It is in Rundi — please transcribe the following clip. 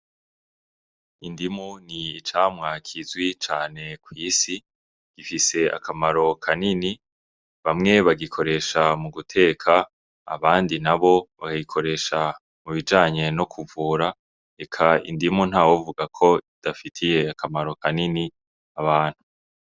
Indimu n'icamwa kizwi cane kwisi gifise akamaro kanini bamwe bagikoresha mu guteka abandi nabo bakagikoresha mu bijanye no kuvura eka indimu ntawovuga ko idafitiye akamaro kanini abantu.